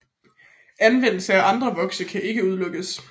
Anvendelse af andre vokse kan ikke udelukkes